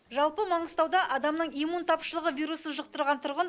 жалпы маңғыстауда адамның иммун тапшылығы вирусын жұқтырған тұрғын